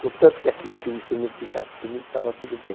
Contanto que aqui que o instrumento ficasse comigo, estava tudo bem.